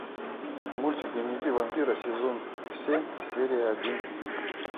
мультик дневники вампира сезон семь серия один